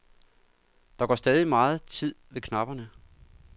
Der går stadig megen tid ved knapperne.